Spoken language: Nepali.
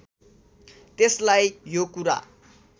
त्यसलाई यो कुरा